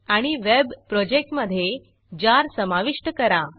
आणि वेब प्रोजेक्टमधे जार समाविष्ट करा